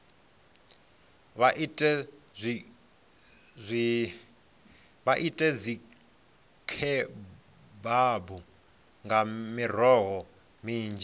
vha ite dzikhebabu nga miroho minzhi